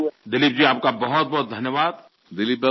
আমার মনে হয় এই প্রচেষ্টা একটি গুরুত্বপূর্ণ পদক্ষেপ